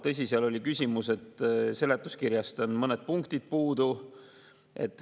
Tõsi, seal oli küsimus, et seletuskirjast on mõned punktid puudu.